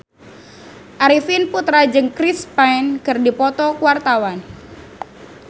Arifin Putra jeung Chris Pane keur dipoto ku wartawan